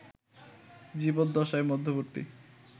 জীবদ্দশার মধ্যবর্তী